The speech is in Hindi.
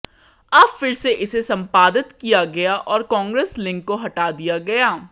अब फिर से इसे संपादित किया गया और कांग्रेस लिंक को हटा दिया गया